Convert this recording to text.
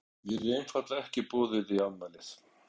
Mér er einfaldlega ekki boðið í afmælið.